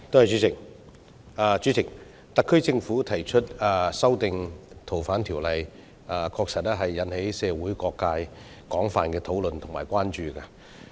主席，特區政府提出修訂《逃犯條例》，確實引起社會各界廣泛討論及關注。